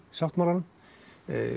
sáttmálanum